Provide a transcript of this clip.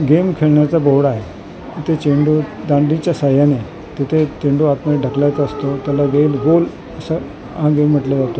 game खेळण्याचा board आहे तिथे चेंडू दांडीच्या सहाय्याने तिथे चेंडू आतमध्ये ढकलायचा असतो त्याला वेल होल असा अ गेम म्हंटला जातो म्हणजे--